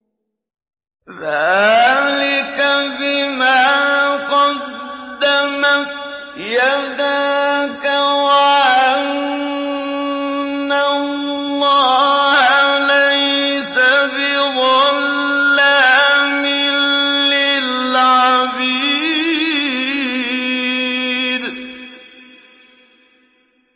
ذَٰلِكَ بِمَا قَدَّمَتْ يَدَاكَ وَأَنَّ اللَّهَ لَيْسَ بِظَلَّامٍ لِّلْعَبِيدِ